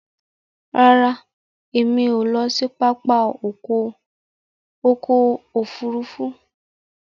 Ràrá Èmi o ló sì pápá ọkọ òfurufú.